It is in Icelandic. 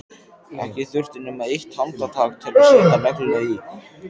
Ekki þurfti nema eitt handtak til að setja negluna í.